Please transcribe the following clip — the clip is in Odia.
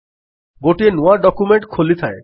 ଗୋଟିଏ ନୂଆ ଡକ୍ୟୁମେଣ୍ଟ ଖୋଲିଥାଏ